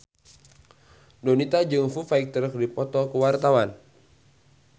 Donita jeung Foo Fighter keur dipoto ku wartawan